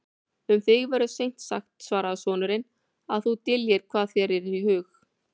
Um þig verður seint sagt, svaraði sonurinn,-að þú dyljir hvað þér er í hug.